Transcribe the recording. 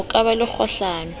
ho ka ba le kgohlano